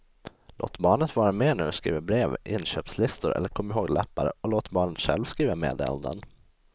Låt barnet vara med när du skriver brev, inköpslistor eller komihåglappar och låt barnet själv skriva meddelanden.